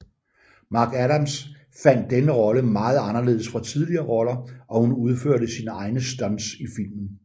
McAdams fandt denne rolle meget anderledes fra tidligere roller og hun udførte sine egne stunts i filmen